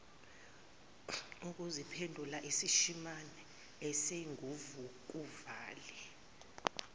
ukuziphendula isishimane esinguvukuvale